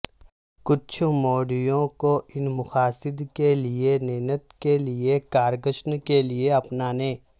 کچھ موٹیوں کو ان مقاصد کے لئے نیند کے لئے کار کشن کے لئے اپنانے